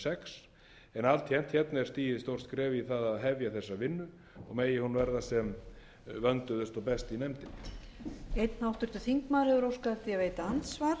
sex en alltént er stigið stórt skref í það að hefja þessa vinnu og megi hún verða sem vönduðust og best í nefndinni